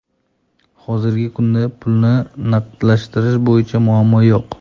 Hozirgi kunda pulni naqdlashtirish bo‘yicha muammo yo‘q.